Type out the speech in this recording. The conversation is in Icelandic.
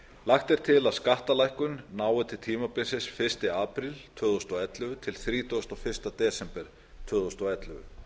lagt er til að skattalækkun nái til tímabilsins fyrsta apríl tvö þúsund og ellefu til þrítugasta og fyrsta desember tvö þúsund og ellefu